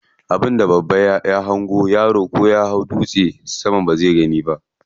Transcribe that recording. Abin da babba ya hango yaro ko ya hau dutse bazai gani ba.